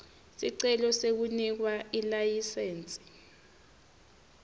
sicelo sekunikwa ilayisensi